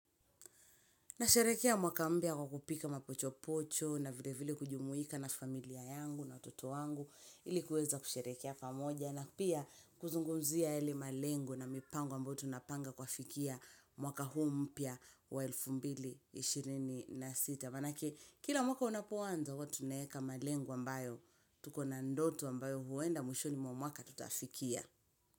Na sherehekea mwaka mpya kwa kupika mapocho pocho na vile vile kujumuika na familia yangu na watoto wangu ilikuweza kusherehekea pamoja na pia kuzungumzia yale malengo na mipango ambayo tunapanga kufikia mwaka huu mpya wa elfu mbili ishirini na sita. Maanake kila mwaka unapoanza huwa tunaweka malengo ambayo tuko na ndoto ambayo huenda mwishoni mwa mwaka tutafikia.